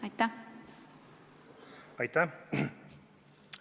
Aitäh!